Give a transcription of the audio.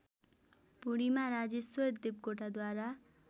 Purnima Rajeshwar देवकोटाद्वारा